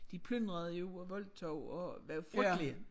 De plyndrede jo og voldtog og var frygtelige